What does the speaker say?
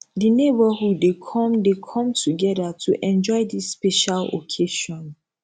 di neighborhood dey come dey come together to enjoy dis special occasion